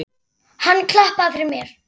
Hann klappaði fyrir mér.